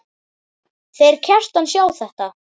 Þeir Kjartan sjá þetta.